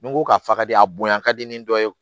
Ni n ko k'a faden a bonya ka di ni dɔ ye